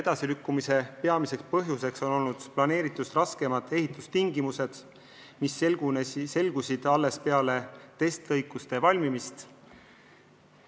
Edasilükkumise peamiseks põhjuseks on eeldatust raskemad ehitustingimused, mis selgusid alles peale testlõikude valmimist.